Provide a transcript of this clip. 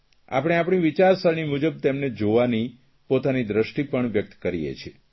આપણે આપણી વિચારસરણી મુજબ તેમને જવાની પોતાની દ્રષ્ટિ પણ વ્યક્ત કરીએ છીએ